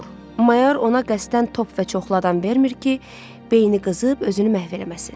Mayor ona qəsdən top və çoxladan vermir ki, beyni qızıb özünü məhv eləməsin.